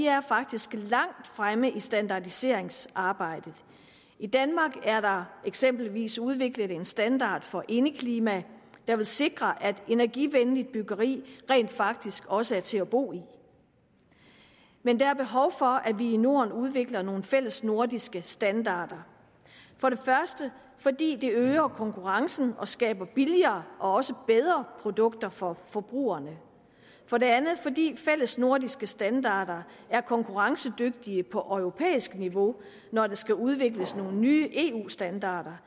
er faktisk langt fremme i standardiseringsarbejdet i danmark er der eksempelvis udviklet en standard for indeklima der vil sikre at energivenligt byggeri rent faktisk også er til at bo i men der er behov for at vi i norden udvikler nogle fællesnordiske standarder for det første fordi det øger konkurrencen og skaber billigere og også bedre produkter for forbrugerne for det andet fordi fællesnordiske standarder er konkurrencedygtige på europæisk niveau når der skal udvikles nye eu standarder